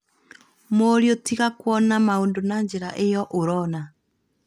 Mũriũ tiga kwona maũndũ na njĩra iyo ũrona